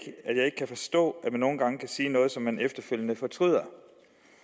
kan forstå at man nogle gange kan sige noget som man efterfølgende fortryder